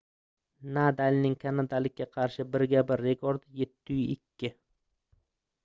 nadalning kanadalikka qarshi birga-bir rekordi 7-2